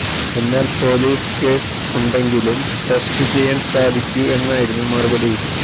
എ്നാല് police case ഉണ്ടെങ്കിലും test ചെയ്യാന് സാധിക്കൂ എന്നായിരുന്നു മറുപടി